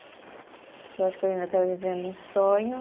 Que eu acho que eu ainda estava vivendo um sonho.